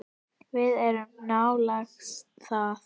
Við erum að nálgast það.